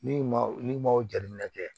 N'i ma n'i ma o jateminɛ kɛ